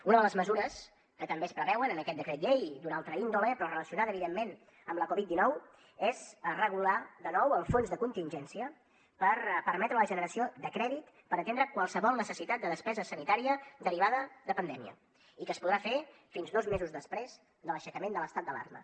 una de les mesures que també es preveuen en aquest decret llei d’una altra índole però relacionada evidentment amb la covid dinou és regular de nou el fons de contingència per permetre la generació de crèdit per atendre qualsevol necessitat de despesa sanitària derivada de pandèmia i que es podrà fer fins dos mesos després de l’aixecament de l’estat d’alarma